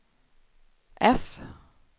F